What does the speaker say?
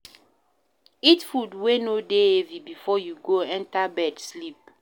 Eat food wey no dey heavy before you go enter bed sleep